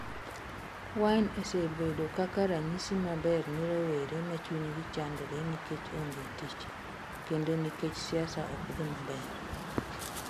Wine osebedo kaka ranyisi maber ne rowere ma chunygi chandore nikech onge tich, kendo nikech siasa ok dhi maber.